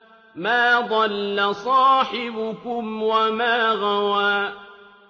مَا ضَلَّ صَاحِبُكُمْ وَمَا غَوَىٰ